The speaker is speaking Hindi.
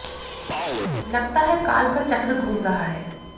लगता है काल का चक्र घूम रहा है